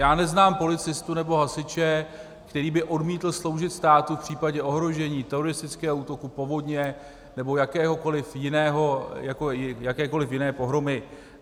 Já neznám policistu nebo hasiče, který by odmítl sloužit státu v případě ohrožení, teroristického útoku, povodně nebo jakékoliv jiné pohromy.